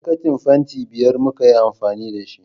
Bokitin fanti biyar muka yi amfani da shi